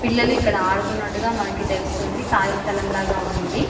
పిల్లలు ఇక్కడ ఆడుకునట్టుగా మనకు తెలుస్తుంది కాళీ స్థలం లాగ ఉంది ఇది.